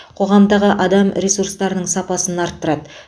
қоғамдағы адам ресурстарының сапасын арттырады